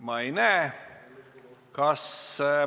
Ma ei näe kõnesoove.